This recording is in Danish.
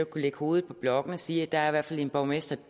kunne lægge hovedet på blokken og sige at der i hvert fald er en borgmester